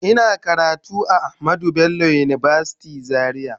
Ina karatu a Ahamed Bello university Zaria